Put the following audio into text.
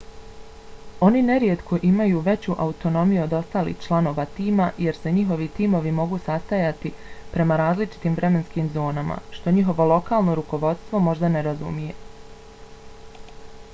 oni nerijetko imaju veću autonomiju od ostalih članova tima jer se njihovi timovi mogu sastajati prema različitim vremenskim zonama što njihovo lokalno rukovodstvo možda ne razumije